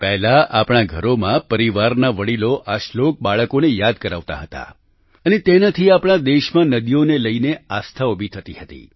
પહેલા આપણાં ઘરોમાં પરિવારના વડિલો આ શ્લોક બાળકોને યાદ કરાવતા હતા અને તેનાથી આપણા દેશમાં નદીઓ ને લઈને આસ્થા ઉભી થતી હતી